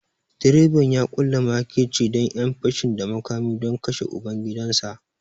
Direban ya ƙulla makirci da ƴan fashin da makami don kashe ubangidansa